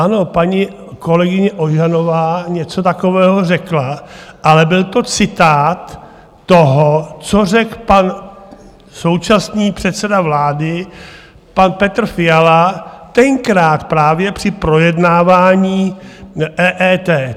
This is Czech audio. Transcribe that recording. Ano, paní kolegyně Ožanová něco takového řekla, ale byl to citát toho, co řekl pan současný předseda vlády, pan Petr Fiala, tenkrát právě při projednávání EET.